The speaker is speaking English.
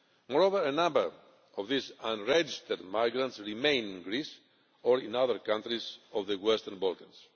Moreover, a number of these unregistered migrants remain in Greece or in other countries of the Western Balkans.